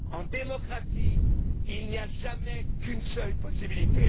En démocratie, il n'y a jamais qu'une seule possibilité.